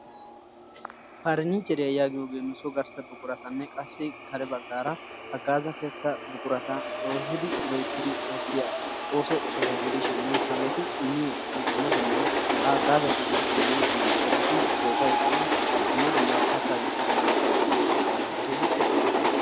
Parnniichcheriya yaagiyoge nu so garssa buquratanne qassi kare baggaara haggaaza keettaa buqurata loyttidi oottiya ooso soho gidishini hageeti immiyo haggaazati woykko dumma dumma buqurati soofayi de'es dumma dumma kattaa wottidi miyoge de'iyo gishshataassi keehippe hagee lo'iyaba.